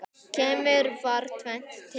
Kemur þar tvennt til.